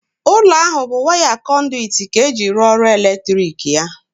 Ụlọ ahụ bụ waya kọnduwit ka eji rụọ ọrụ eletrikal ya.